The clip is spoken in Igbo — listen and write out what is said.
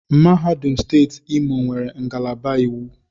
Mahadum steeti Imo nwere ngalaba iwu.